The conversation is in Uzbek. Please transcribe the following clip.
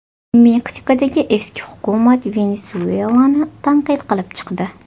Meksikadagi eski hukumat Venesuelani tanqid qilib chiqdi.